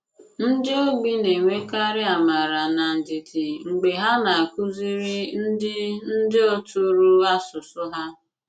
Ndị ogbi na-enwèkàrị àmàrà na ndìdì mg̀bè ha na-àkùzìrì ndị ndị òtùrò àsùsù ha.